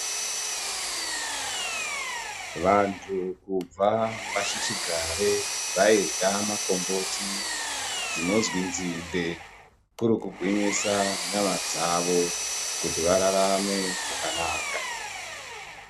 Vanthu kubva pashichigare vairya makomboti dzinozwi nzinde kuri kugwinyisa nyama dzavo kuti vararame zvakanaka.